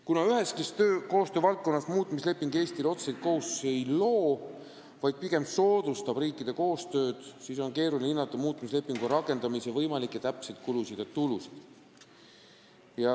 Kuna üheski koostöövaldkonnas muutmisleping Eestile otseseid kohustusi ei loo, vaid pigem soodustab koostööd, siis on keeruline hinnata muutmislepingu rakendamise võimalikke täpseid kulusid ja tulusid.